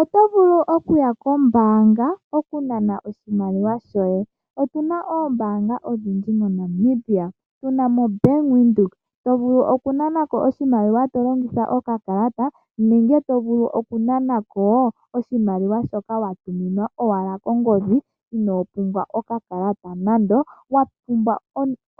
Oto vulu okuya kombaanga wukanane oshimaliwa shoye. Otuna ombaanga odhindji moNamibia tunamo bank Windhoek to vulu okunanako oshimaliwa tolongitha oka kalata nenge to vulu okunanako oshimaliwa shoka watuminwa owala kongodhi ino pumbwa oka kalata nando, wapumbwa